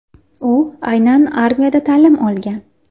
U aynan armiyada ta’lim olgan.